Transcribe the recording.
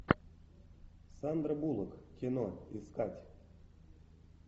сандра буллок кино искать